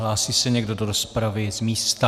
Hlásí se někdo do rozpravy z místa?